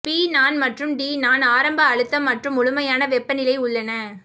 B நான் மற்றும் T நான் ஆரம்ப அழுத்தம் மற்றும் முழுமையான வெப்பநிலை உள்ளன